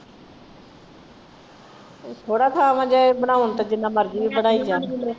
ਥੋੜਾ ਥਾਂ ਵਾ ਜੇ ਬਣਾਉਣ ਤੇ ਜਿੰਨਾ ਮਰਜੀ ਬਣਾਈ ਜਾਣ।